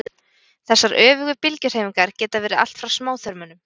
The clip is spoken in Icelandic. þessar öfugu bylgjuhreyfingar geta verið allt frá smáþörmunum